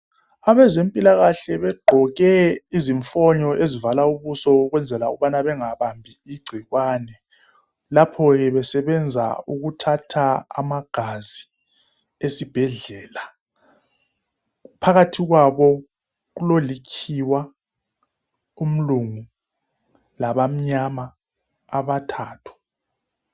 Abezempilakahle begqoke izifonyo ezivala ubuso ukwenzela ukubana bengabambi igcikwane lapho besebenza ukuthatha amagazi esibhedlela phakathi kwabo kulolikhiwa umlungu labamnyama abathathu.